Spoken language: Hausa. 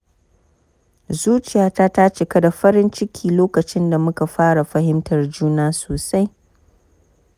Zuciyata ta cika da farin ciki lokacin da muka fara fahimtar juna sosai.